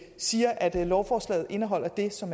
siger at lovforslaget indeholder det som